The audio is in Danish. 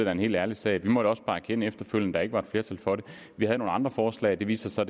er en helt ærlig sag vi måtte også bare erkende efterfølgende at der ikke var flertal for det vi havde nogle andre forslag det viste sig